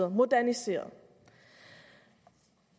moderniseret